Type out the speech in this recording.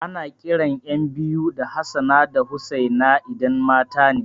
Ana kiran ƴan biyu da Hassana da Hussaina idan matane